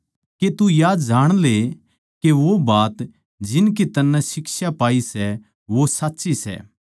के तू या जाण ले के वो बात जिनकी तन्नै शिक्षा पाई सै वो सच्ची सै